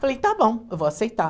Falei, está bom, eu vou aceitar.